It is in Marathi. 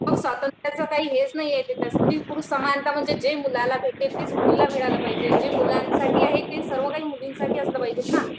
स्वातंत्र्याचं काही हेच नाही ये यांच्यात स्त्री पुरुष समानता म्हणजे जे मुलाला भेटेल तेच मुलीला मिळालं पाहिजे जे मुलांसाठी आहे ते सर्वकाही मुलींसाठी असलं पाहिजेत ना